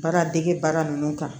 Baara dege baara ninnu kan